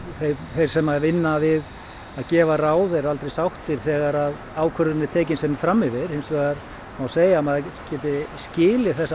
þeir sem vinna við að gefa ráð eru aldrei sáttir þegar ákvörðun er tekin sem er fram yfir hins vegar má segja að maður geti skilið þessa